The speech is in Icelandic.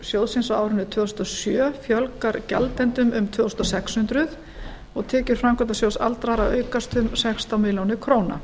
sjóðsins á árinu tvö þúsund og sjö fjölgar gjaldendum um tvö þúsund sex hundruð og tekjur framkvæmdasjóðs aldraðra aukast um sextán milljónum króna